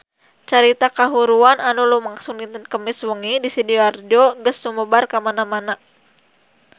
Carita kahuruan anu lumangsung dinten Kemis wengi di Sidoarjo geus sumebar kamana-mana